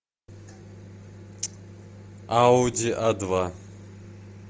ауди а два